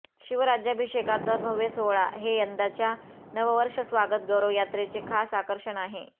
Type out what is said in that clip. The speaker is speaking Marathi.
शिवराज्यभिषेकाचा भव्य सोहळा हे यंदाच्या नववर्ष स्वागत गौरव यात्रेचे खास आकर्षण आहे